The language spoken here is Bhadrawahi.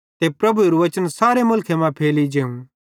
ते प्रभुएरू बच्चन सारे मुलखे मां फैली जेवं